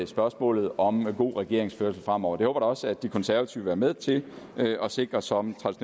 spørgsmålet om god regeringsførelse fremover da også at de konservative vil være med til at sikre som